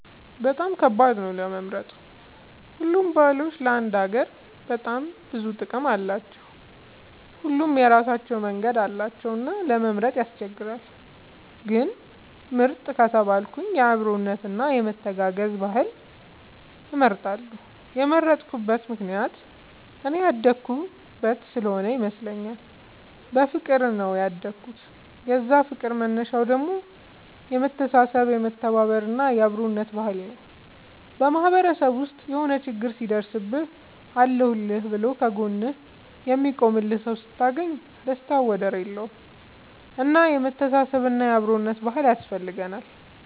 በጣም ከባድ ነው ለመምረጥ ሁሉም ባህሎች ለአንድ ሀገር በጣም ብዙ ጥቅም አላቸው። ሁሉም የራሳቸው መንገድ አላቸው እና ለመምረጥ ያስቸግራል። ግን ምርጥ ከተባልኩ የአብሮነት እና የመተጋገዝ ባህልን እመርጣለሁ የመረጥኩት ምክንያት እኔ ያደኩበት ስሆነ ይመስለኛል። በፍቅር ነው ያደኩት የዛ ፍቅር መነሻው ደግሞ የመተሳሰብ የመተባበር እና የአብሮነት ባህል ነው። በማህበረሰብ ውስጥ የሆነ ችግር ሲደርስብህ አለሁልህ ብሎ ከ ጎንህ የሚቆምልህ ሰው ስታገኝ ደስታው ወደር የለውም። እና የመተሳሰብ እና የአብሮነት ባህል ያስፈልጋል